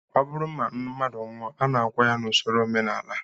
Ọ bụrụ na mmadụ nwụọ, a na-akwa ya n'usoro omenala